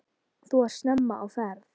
Þú ert snemma á ferð!